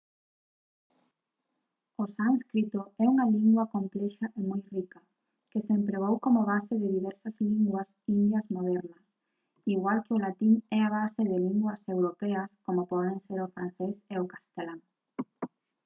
o sánscrito é unha lingua complexa e moi rica que se empregou como base de diversas linguas indias modernas igual que o latín é a base de linguas europeas como poden ser o francés e o castelán